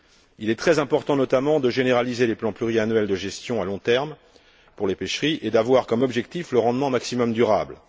Il est très important, notamment, de généraliser les plans pluriannuels de gestion à long terme pour les pêcheries et d'avoir comme objectif le rendement maximum durable.